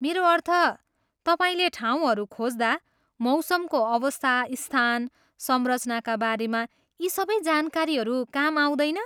मेरो अर्थ, तपाईँले ठाउँहरू खोज्दा मौसमको अवस्था, स्थान, संरचनाका बारेमा यी सबै जानकारीहरू काम आउँदैन?